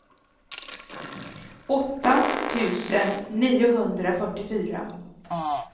åtta tusen niohundrafyrtiofyra